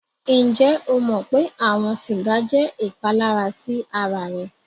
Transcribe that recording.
Ǹjẹ o mọ̀ pé awọn sígà jẹ́ ìpàlàrà sí ara rẹ̀?